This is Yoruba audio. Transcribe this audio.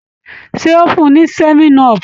Ṣé o fún un ní 7up?